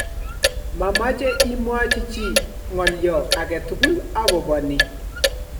mamache imwachi chii nga'alyo agetukul akobo nii